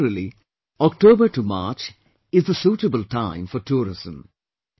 Generally, October to March is the suitable time for tourism